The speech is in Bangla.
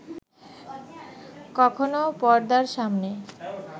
কখনো পর্দার সামনে